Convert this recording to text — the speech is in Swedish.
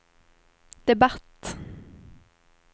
debatt